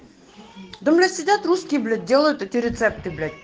да у нас седят русские блять делают эти рецепты блять